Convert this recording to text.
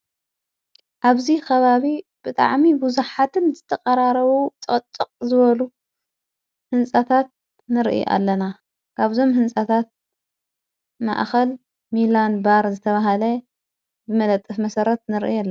አብዙይ ኸባቢ ብጥዓሚ ብዙኃትን ዝተቐራረዉ ጸቅጥቕ ዝበሉ ሕንፃታት ንርኢ ኣለና። ካብዞም ሕንፃታት ማእኸል ሚላን ባር ዘተብሃለ ብመለጠፍ መሠረት ንርኢ ኣለና።